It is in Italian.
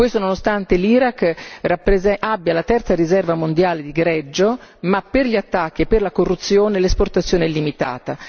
Questo nonostante l'Iraq abbia la terza riserva mondiale di greggio, ma per gli attacchi e per la corruzione l'esportazione è limitata.